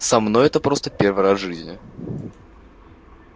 со мной это просто первый раз в жизни